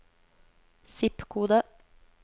zip-kode